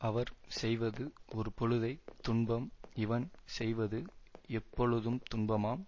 அவர் செய்வது ஒருபொழுதைத் துன்பம் இவன் செய்வது எப்பொழுதும் துன்பமாம்